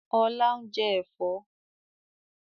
Ọlá ń jẹ́ Ẹ̀fọ́